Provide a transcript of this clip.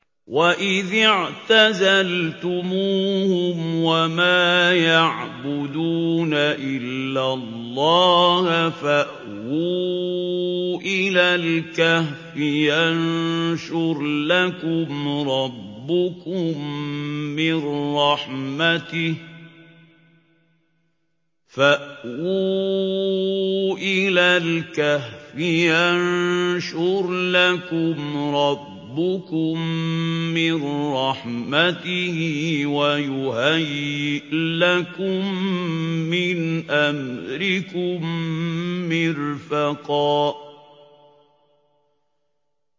وَإِذِ اعْتَزَلْتُمُوهُمْ وَمَا يَعْبُدُونَ إِلَّا اللَّهَ فَأْوُوا إِلَى الْكَهْفِ يَنشُرْ لَكُمْ رَبُّكُم مِّن رَّحْمَتِهِ وَيُهَيِّئْ لَكُم مِّنْ أَمْرِكُم مِّرْفَقًا